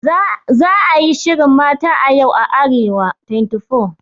Za a yi shirin Mata a Yau a Arewa24.